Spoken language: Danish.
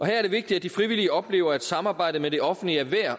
her er det vigtigt at de frivillige oplever at et samarbejde med det offentlige er værd